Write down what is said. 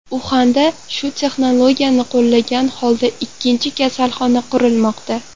Uxanda shu texnologiyani qo‘llagan holda ikkinchi kasalxona qurilmoqda.